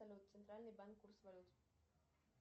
салют центральный банк курс валют